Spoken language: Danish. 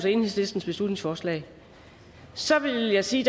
enhedslistens beslutningsforslag så vil jeg sige